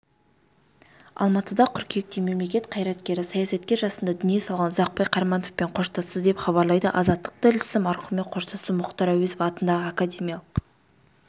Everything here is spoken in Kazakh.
алматыда қыркүйекте мемлекет қайраткері саясаткер жасында дүние салған ұзақбай қарамановпен қоштасты деп хабарлайды азаттық тілшісі марқұммен қоштасу мұхтар әуезов атындағы академиялық